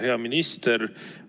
Hea minister!